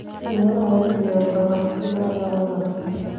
Beeraha iyo ganacsiga ayaa wanaagsan